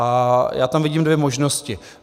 A já tam vidím dvě možnosti.